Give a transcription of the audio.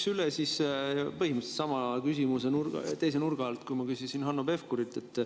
Ma küsiks põhimõtteliselt sama küsimuse üle teise nurga alt, nagu ma küsisin Hanno Pevkurilt.